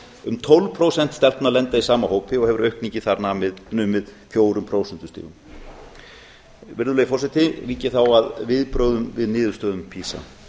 um tólf prósent stelpna lenda í sama hópi og hefur aukningin þar numið fjögur prósent virðulegi forseti vík ég þá að viðbrögðum við niðurstöðum pisa